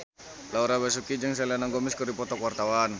Laura Basuki jeung Selena Gomez keur dipoto ku wartawan